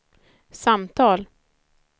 samtal